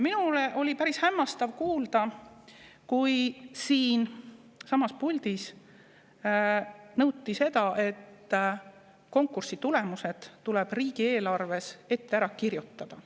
Minul oli päris hämmastav kuulda, kui siinsamas puldis nõuti seda, et konkursi tulemused tuleb riigieelarves ette ära kirjutada.